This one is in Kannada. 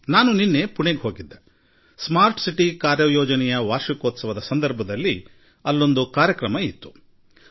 ನಾನು ನಿನ್ನೆ ಸ್ಮಾರ್ಟ್ ಸಿಟಿ ಯೋಜನೆಯ ವಾರ್ಷಿಕೋತ್ಸವದ ಅಂಗವಾಗಿ ಪುಣೆಗೆ ಹೋಗಿದ್ದೆ